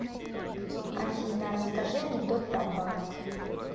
афина расскажи анекдот про банк